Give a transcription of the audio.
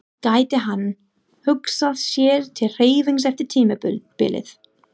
Gæti hann hugsað sér til hreyfings eftir tímabilið?